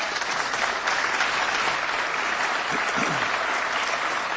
Dziękuję bardzo panu przewodniczącemu Komisji Europejskiej.